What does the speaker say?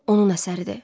Onun əsəridir.